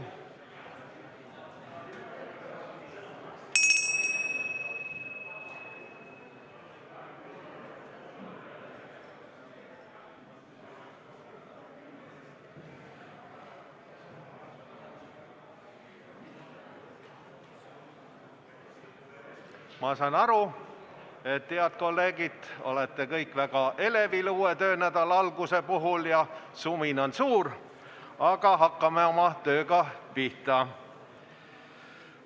Ma saan aru, et te kõik olete väga elevil uue töönädala alguse puhul ja sumin on suur, aga hakkame tööga pihta.